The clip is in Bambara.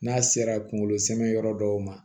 N'a sera kunkolo samiyɛn yɔrɔ dɔw ma